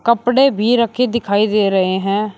कपड़े भी रखे दिखाई दे रहे हैं।